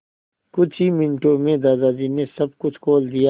कुछ ही मिनटों में दादाजी ने सब कुछ खोल दिया